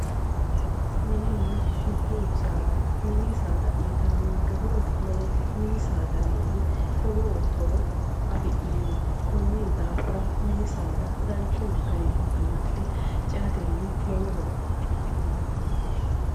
Minninna dubbu saada mini saada uyitannonke horo lowote minni saadawiinni lowo horo afi'neemmo konnira minni saada garunni amaxinummoro lowo horo afi'neemmo